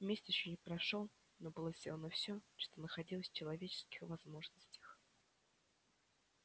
месяц ещё не прошёл но было сделано всё что находилось в человеческих возможностях